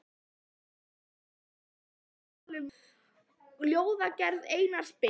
ÞÓRBERGUR: Þá var ég að tala um ljóðagerð Einars Ben.